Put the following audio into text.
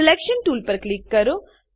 selection tool પર click કરો